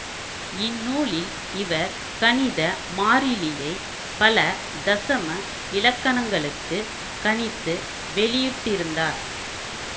இந்நூலில் இவர் கணித மாறிலியை பல தசம இலக்கணங்களுக்குக் கணித்து வெளியிட்டிருந்தார்